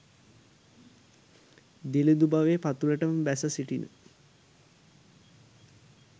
දිළිඳු බවේ පතුළටම බැස සිටින